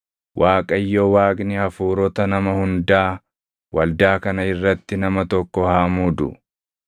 “ Waaqayyo Waaqni hafuurota nama hundaa waldaa kana irratti nama tokko haa muudu;